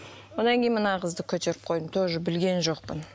одан кейін мына қызды көтеріп қойдым тоже білген жоқпын